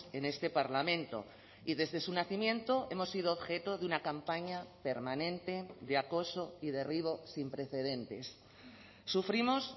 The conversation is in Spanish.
en este parlamento y desde su nacimiento hemos sido objeto de una campaña permanente de acoso y derribo sin precedentes sufrimos